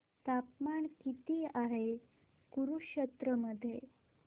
तापमान किती आहे कुरुक्षेत्र मध्ये